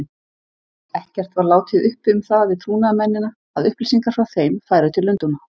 Ekkert var látið uppi um það við trúnaðarmennina, að upplýsingar frá þeim færu til Lundúna.